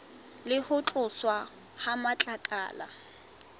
le ho tloswa ha matlakala